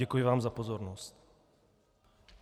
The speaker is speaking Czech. Děkuji vám za pozornost.